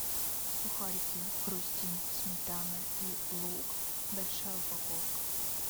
сухарики хрустим сметана и лук большая упаковка